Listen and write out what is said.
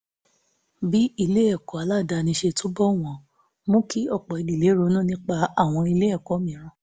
bí ilé ẹ̀kọ́ aládàáni ṣe túbọ̀ wọ́n mú kí ọ̀pọ̀ ìdílé ronú nípa àwọn ilé ẹ̀kọ́ mìíràn